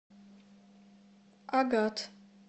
агат